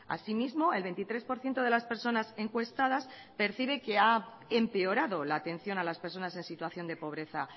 asimismo el veintitrés por ciento de las personas encuestadas percibe que ha empeorado la atención a las personas en situación de pobreza